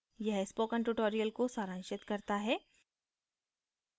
यह spoken tutorial को सारांशित करता है